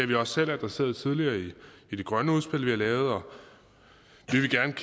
vi også selv adresseret tidligere i det grønne udspil vi har lavet og